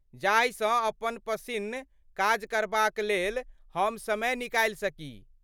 जाहि सँ अपन पसिन्न काज करबाक लेल हम समय निकालि सकी।